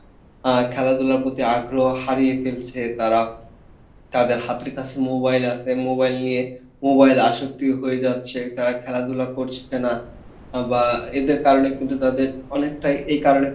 আহ্ খেলাধুলার প্রতি আগ্রহ হারিয়ে ফেলছে তারা তাদের হাতের কাসে mobile আসে mobile নিয়ে mobile আসক্তি হয়ে যাচ্ছে তারা খেলাধুলা করছে না, বা এদের কারনে কিন্তু তাদের অনেকটাই